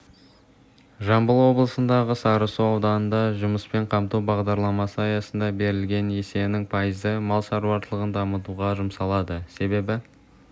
жамбыл облысындағы сарысу ауданында жұмыспен қамту бағдарламасы аясында берілген несиенің пайызы мал шаруашылығын дамытуға жұмсалады себебі